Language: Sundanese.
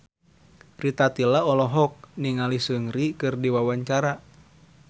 Rita Tila olohok ningali Seungri keur diwawancara